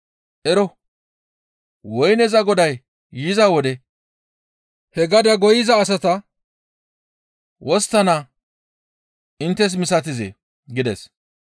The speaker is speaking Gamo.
«Ero! Woyneza goday yiza wode he gadaa goyiza asata wosttana inttes misatizee?» gides.